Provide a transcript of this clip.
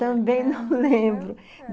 Também não lembro.